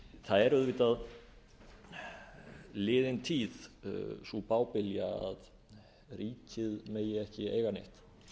er auðvitað liðin tíð sú bábilja að ríkið megi ekki eiga neitt